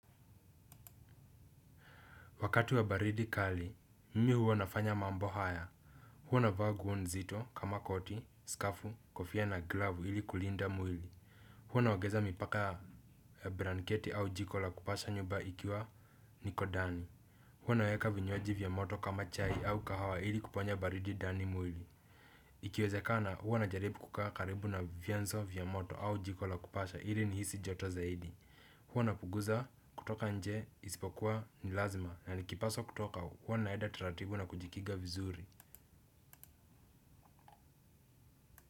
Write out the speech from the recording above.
Wakati wa baridi kali, mimi huwa nafanya mambo haya. Huwa navaa nguo nzito kama koti, skafu, kofia na glavu ili kulinda mwili. Huwa naongeza mipaka ya blanketi au jiko la kupasha nyumba ikiwa niko dani. Huwa naweka vinywaji vya moto kama chai au kahawa ili kuponya baridi ndani mwili. Ikiwezekana huwa najaribu kukaa karibu na vyenzo vya moto au jiko la kupasha ili nihisi joto zaidi. Huwa napunguza kutoka nje isipokuwa ni lazima na nikipaswa kutoka huwa naenda taratibu na kujikinga vizuri.